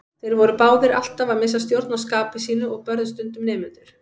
Þeir voru báðir alltaf að missa stjórn á skapi sínu og börðu stundum nemendur.